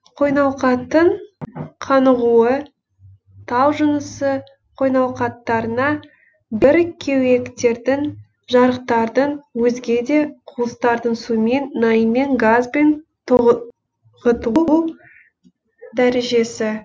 қойнауқаттың қанығуы тау жынысы қойнауқаттарына бір кеуектердің жарықтардың өзге де куыстардың сумен наймен газбен тоғытылу дәрежесі